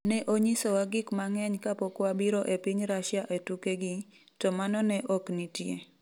“Ne onyisowa gik mang’eny kapok wabiro e piny Russia e tukegi, to mano ne ok nitie.”